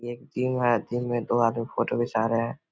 ये एक जिम है जिम में दो आदमी फोटो घीचा रहें हैं।